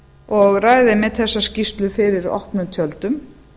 og ræða einmitt þessa skýrslu fyrir opnum tjöldum